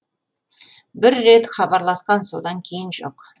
бір рет хабарласқан содан кейін жоқ